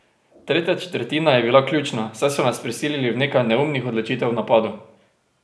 Tretja četrtina je bila ključna, saj so nas prisilili v nekaj neumnih odločitev v napadu.